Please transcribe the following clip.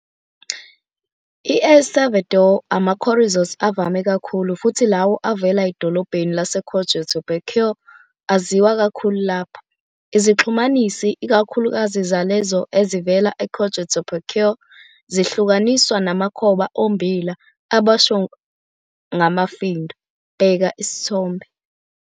E-El Salvador, ama-chorizos avame kakhulu, futhi lawo avela edolobheni laseCojutepeque aziwa kakhulu lapho. Izixhumanisi, ikakhulukazi zalezo ezivela e-Cojutepeque, zihlukaniswa namakhoba ommbila aboshwe ngamafindo, bheka isithombe.